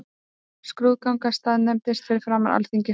Skrúðgangan staðnæmdist fyrir framan Alþingishúsið.